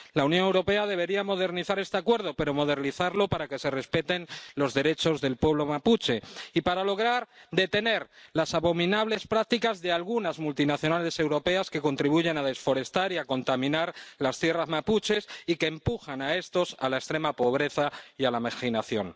La Unión Europea debería modernizar este Acuerdo, pero modernizarlo para que se respeten los derechos del pueblo mapuche y para lograr detener las abominables prácticas de algunas multinacionales europeas, que contribuyen a desforestar y a contaminar las tierras mapuches y que empujan a sus habitantes a la extrema pobreza y a la marginación.